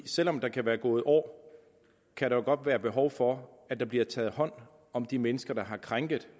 selv om der kan være gået år kan der jo godt være behov for at der bliver taget hånd om de mennesker der har krænket